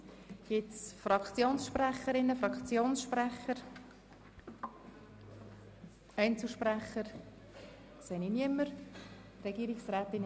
Wird das Wort seitens von Fraktionssprecherinnen oder Fraktionssprechern gewünscht oder von Einzelsprechern?